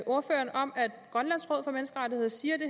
ordføreren om at grønlands råd for menneskerettigheder siger det